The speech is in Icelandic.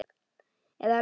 Eða lurkar farnir á stjá?